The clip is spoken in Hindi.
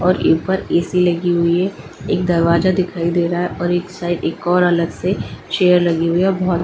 और यहां पर ए_सी लगी हुई है एक दरवाजा दिखाई दे रहा है और इस साइड एक और अलग से चेयर लगी हुई है बहुत--